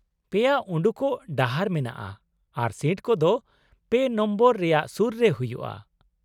ᱯᱮᱭᱟ ᱩᱰᱩᱠᱚᱜ ᱰᱟᱦᱟᱨ ᱢᱮᱱᱟᱜᱼᱟ, ᱟᱨ ᱥᱤᱴ ᱠᱚᱫᱚ ᱯᱮ ᱱᱟᱢᱵᱟᱨ ᱨᱮᱭᱟᱜ ᱥᱩᱨ ᱨᱮ ᱦᱩᱭᱩᱜᱼᱟ ᱾